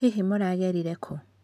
Hihi mũragereire kũũ?